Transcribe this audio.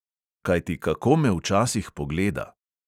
Kajti kako me včasih pogleda!